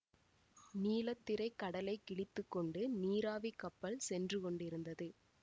நீலத்திரைக் கடலைக் கிழித்து கொண்டு நீராவிக் கப்பல் சென்று கொண்டிருந்தது